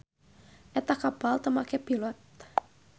Eta kapal teu make pilot.